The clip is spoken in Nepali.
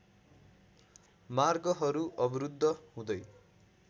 मार्गहरू अवरुद्ध हुँदै